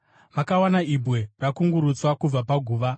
Vakawana ibwe rakungurutswa kubva paguva,